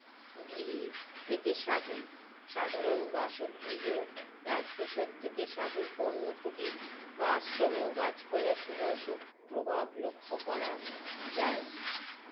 গৃহী থেকে সাধু সাধারণ বাসগৃহেও রাজপ্রসাদ থেকে সাধুর পণ্য কুটির বা আশ্রমেও গাছপালার সুভাসু প্রভাব লক্ষ্য করা যায়